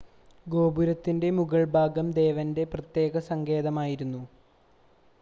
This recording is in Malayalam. ഗോപുരത്തിൻ്റെ മുകൾഭാഗം ദേവൻ്റെ പ്രത്യേക സങ്കേതമായിരുന്നു